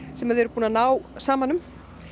sem þið eruð búin að ná saman um